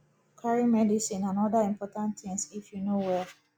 carry medicine and oda important things if you no well